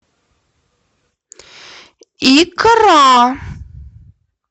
икра